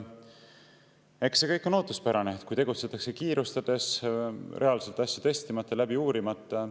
Eks see kõik on ootuspärane, kui tegutsetakse kiirustades, reaalselt asju testimata, läbi uurimata.